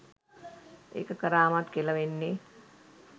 ඒක කරාමත් කෙළ වෙන්නේ